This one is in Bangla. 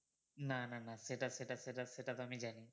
না না না সেটা সেটা সেটা সেটা তো আমি জানি